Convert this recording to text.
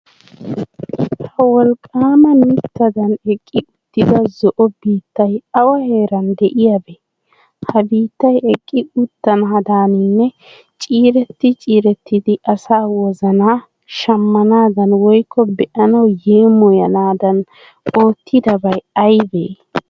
Ha wolqqaama mittadan eqqi uttida zo"o biittay awa heeran de'iyabee? Ha biittay eqqi uttanaadaaninne ciiretti ciirettidi asaa wozanaa shammanadan woykko be'anawu yeemoyanaadan oottidabay aybee?